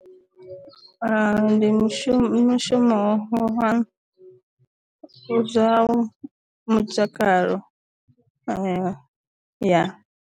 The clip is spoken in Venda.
Ndi mushumo mushumo wa zwa mutakalo wa ya.